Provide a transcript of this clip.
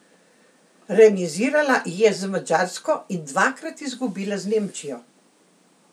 Remizirala je z Madžarsko in dvakrat izgubila z Nemčijo.